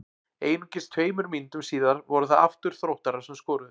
Einungis tveimur mínútum síðar voru það aftur Þróttarar sem skoruðu.